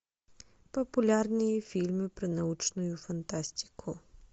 популярные фильмы про научную фантастику